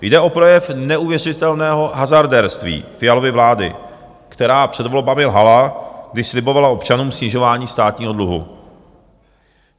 Jde o projev neuvěřitelného hazardérství Fialovy vlády, která před volbami lhala, když slibovala občanům snižování státního dluhu.